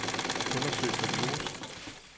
Undersøg for virus.